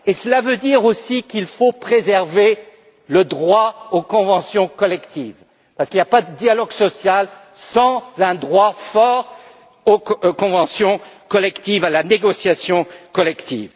social. Cela veut dire aussi qu'il faut préserver le droit aux conventions collectives parce qu'il n'y a pas de dialogue social sans un droit fort à la négociation collective.